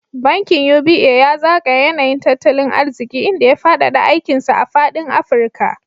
Bankin UBA ya zagaya yanayin tattalin arziki, inda ya faɗaɗa aikin sa a faɗin Afirka.